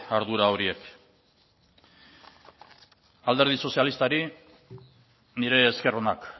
ardura horiek alderdi sozialistari nire esker onak